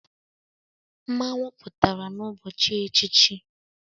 Mmanwu pụtara n'ụbọchị echichi,.